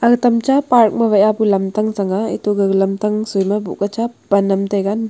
aga tam cha park ma wai pu lamtang changnga eto gaga lamtang soi ma boh ka cha cha pan am taiga.